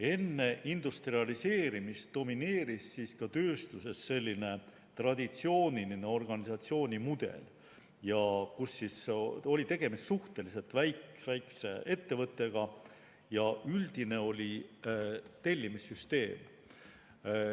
Enne industrialiseerimist domineeris tööstuses traditsiooniline organisatsioonimudel, mille korral oli tegemist suhteliselt väikese ettevõttega ja üldine oli tellimissüsteem.